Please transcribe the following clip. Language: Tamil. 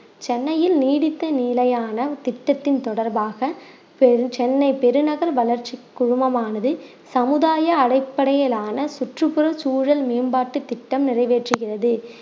சென்னையில் நீடித்து நிலையான திட்டத்தின் தொடர்பாக பெரு~ சென்னை பெருநகர் வளர்ச்சி குழுமமானது சமுதாய அடிப்படையிலான சுற்றுப்புற சூழல் மேம்பாட்டு திட்டம் நிறைவேற்றுகிறது